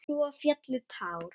Svo féllu tár.